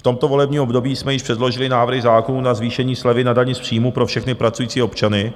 V tomto volebním období jsme již předložili návrhy zákonů na zvýšení slevy na dani z příjmů pro všechny pracující občany